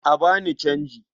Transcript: A ba ni canji.